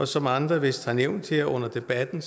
som andre vist har nævnt her under debatten